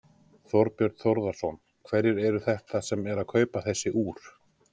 Þorbjörn Þórðarson: Hverjir eru þetta sem eru að kaupa þessi úr?